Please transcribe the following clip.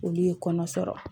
Olu ye kɔnɔ sɔrɔ